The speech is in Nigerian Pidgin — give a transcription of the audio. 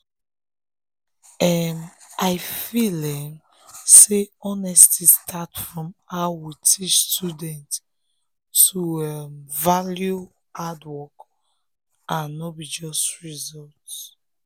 um i feel um say exam honesty start from how we teach students to um value hard work and no be just result.